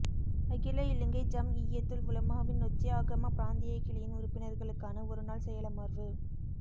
அகில இலங்கை ஜம்இய்யத்துல் உலமாவின் நொச்சியாகம பிராந்திய கிளையின் உறுப்பினர்களுக்கான ஒரு நாள் செயலமர்வு